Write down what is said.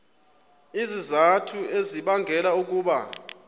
izizathu ezibangela ukuba